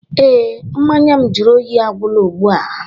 Ee, mmanya m jụrụ oyi agwụla ugbu a